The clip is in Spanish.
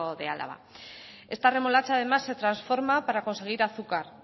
de álava esta remolacha además se transforma para conseguir azúcar